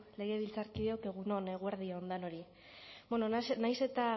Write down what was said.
legebiltzarkideok egun on eguerdi on denori nahiz eta